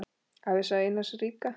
Ævisaga Einars ríka